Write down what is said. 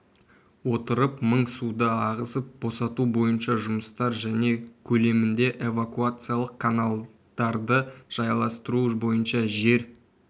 отырып мың суды ағызып босату бойынша жұмыстар және көлемінде эвакуациялық каналдарды жайластыру бойынша жер